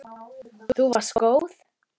Þú varst góð.